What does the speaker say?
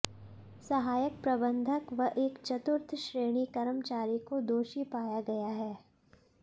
सहायक प्रबंधक व एक चतुर्थ श्रेणी कर्मचारी को दोषी पाया गया है